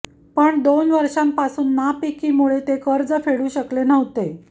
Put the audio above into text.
पण दोन वर्षांपासून नापिकीमुळे ते कर्ज फेडू शकले नव्हते